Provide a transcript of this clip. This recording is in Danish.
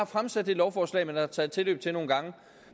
fremsat det lovforslag man har taget tilløb til nogle gange